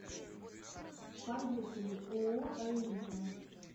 поехали ооо аэлита